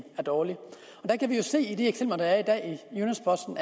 er dårlig vi kan jo se i de eksempler der er i dag at